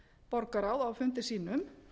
borgarráð á fundi sínum